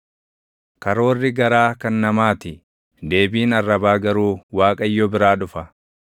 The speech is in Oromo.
Karoorri garaa kan namaa ti; deebiin arrabaa garuu Waaqayyo biraa dhufa.